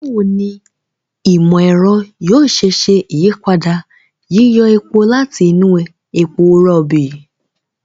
Báwo ni ìmọ̀-ẹ̀rọ yóò ṣe ṣe ìyípadà yíyọ epo láti inú epo rọ̀ọ̀bì?